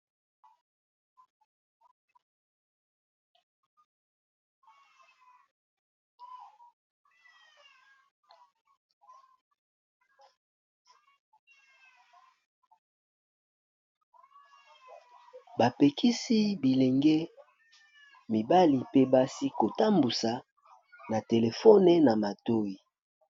Ba pekisi bilenge mibali pe basi ko tambusa na telefone na matoyi.